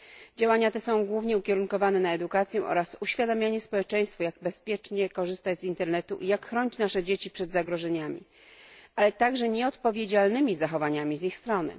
Działania te są głównie ukierunkowane na edukację oraz uświadamianie społeczeństwa, jak bezpiecznie korzystać z internetu i jak chronić nasze dzieci przed zagrożeniami, ale także nieodpowiedzialnymi zachowaniami z ich strony.